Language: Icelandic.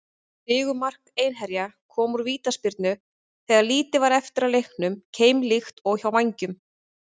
Sigurmark Einherja kom úr vítaspyrnu þegar lítið var eftir af leiknum, keimlíkt og hjá Vængjum.